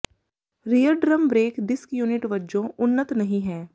rear drum brake disc unit ਵਜੋਂ ਉੱਨਤ ਨਹੀਂ ਹੈ